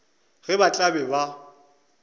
ge ba tla be ba